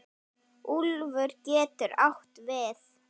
Úlfur getur átt við